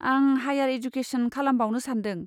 आं higher education खालामबावनो सान्दों।